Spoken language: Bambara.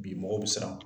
Bi mɔgɔw bɛ siran